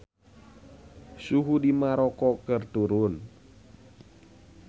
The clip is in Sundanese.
Suhu di Maroko keur turun